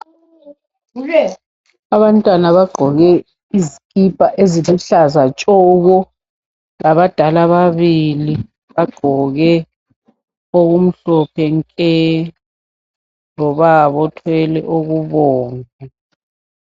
Abantwana bagqoke izikhipha eziluhlaza tshoko. Labadala ababili bagqoke okumhlophe nke, lobaba othwele okubomvu.